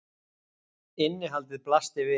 Innihaldið blasti við.